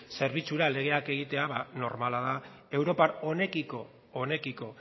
zerbitzura legak egitea ba normala da europa honekiko